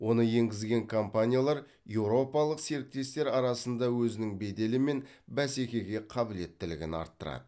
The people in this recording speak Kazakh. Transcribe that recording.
оны енгізген компаниялар еуропалық серіктестер арасында өзінің беделі мен бәсекеге қабілеттілігін арттырады